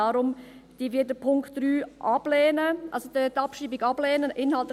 Deshalb lehnen wir die Abschreibung des Punkts 3 ab;